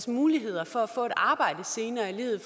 muligheder for at få et arbejde senere i livet